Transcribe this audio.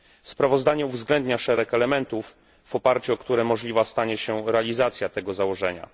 Sprawozdanie uwzględnia szereg elementów, w oparciu o które możliwa stanie się realizacja tego założenia.